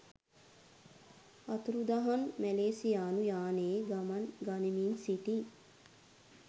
අතුරුදහන් මැලේසියානු යානයේ ගමන් ගනිමින් සිටි